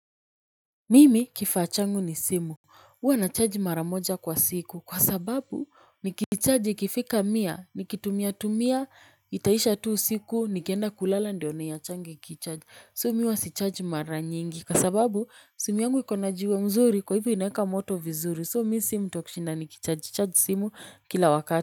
Mimi kifaa changu ni simu, huwa na charge mara moja kwa siku, kwa sababu nikicharge ikifika mia, nikitumia tumia, itaisha tu usiku, nikienda kulala ndio niachange ikicharge, so mi huwa si charge mara nyingi, kwa sababu simu yangu ikona jiwe mzuri kwa hivyo inaeka moto vizuri, so mimi si mtu wa kushinda ni kicharge, charge simu kila wakati.